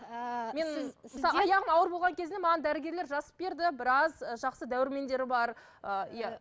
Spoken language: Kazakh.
ыыы аяғым ауыр болған кезде маған дәрігерлер жазып берді біраз жақсы дәрумендер бар ыыы иә